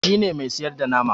shi ne Mai siyarda nama